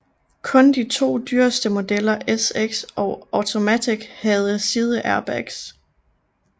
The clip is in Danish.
Kun de to dyreste modeller SX og Automatik havde sideairbags